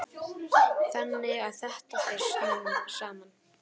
Þannig að þetta fer saman.